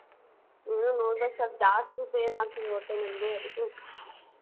ಇನ್ನು ನೋಡ್ಬೇಕು. ಸೊಲ್ಪ್ ಜಾಸ್ತಿ pain ಆಗ್ತಿದೆ ಗೊತ್ತ ನಂಗೆ.